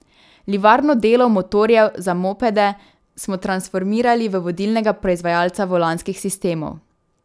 Livarno delov motorjev za mopede smo transformirali v vodilnega proizvajalca volanskih sistemov.